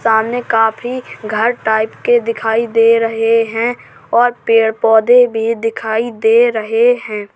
सामने काफी घर टाइप के दिखाई दे रहे हैं और पेड़ पौधे भी दिखाई दे रहे हैं।